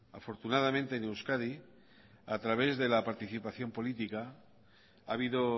afortunadamente en euskadi a través de la participación política ha habido